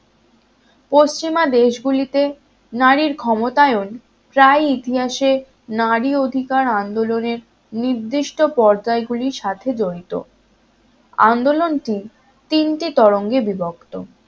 পশ্চিমা দেশগুলিতে নারীর ক্ষমতায়ন প্রায় ইতিহাসে নারী অধিকার আন্দোলনের নির্দিষ্ট পর্যায় গুলির সাথে জড়িত আন্দোলন টি তিনটি তরঙ্গে বিভক্ত